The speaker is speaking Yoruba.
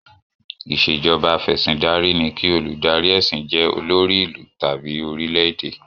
Ìṣèjọba afẹ̀sìndarí ni kí olùdarí ẹ̀sìn jẹ́ olórí ìlú tàbí orílè-èdè.